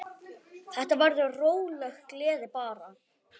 Þetta verður róleg gleði bara.